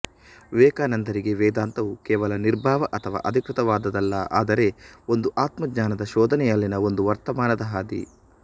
ವಿವೇಕಾನಂದರಿಗೆ ವೇದಾಂತವು ಕೇವಲ ನಿರ್ಭಾವ ಅಥವಾ ಅಧಿಕೃತವಾದುದಲ್ಲ ಆದರೆ ಒಂದು ಆತ್ಮಜ್ಞಾನ ದ ಶೋಧನೆಯಲ್ಲಿನ ಒಂದು ವರ್ತಮಾನದ ಹಾದಿ